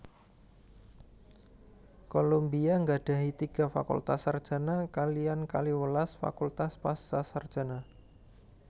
Columbia nggadhahi tiga fakultas sarjana kaliyan kalihwelas fakultas pascasarjana